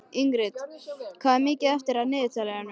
Ingrid, hvað er mikið eftir af niðurteljaranum?